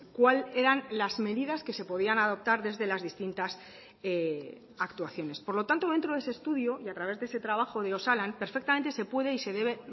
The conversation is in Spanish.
cuál eran las medidas que se podían adoptar desde las distintas actuaciones por lo tanto dentro de ese estudio y a través de ese trabajo de osalan perfectamente se puede y se debe